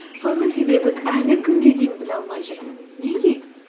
соның себебін әлі күнге дейін біле алмай жүрмін неге